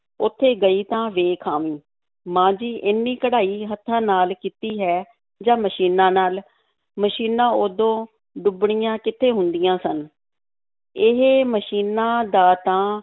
ਉੱਥੇ ਗਈ ਤਾਂ ਵੇਖ ਆਵੀਂ, ਮਾਂ ਜੀ ਏਨੀ ਕਢਾਈ ਹੱਥਾਂ ਨਾਲ ਕੀਤੀ ਹੈ ਜਾਂ ਮਸ਼ੀਨਾਂ ਨਾਲ? ਮਸ਼ੀਨਾਂ ਉਦੋਂ ਡੁੱਬਣੀਆਂ ਕਿੱਥੇ ਹੁੰਦੀਆਂ ਸਨ, ਇਹ ਮਸ਼ੀਨਾਂ ਦਾ ਤਾਂ